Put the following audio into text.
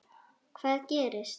Hvað gerist?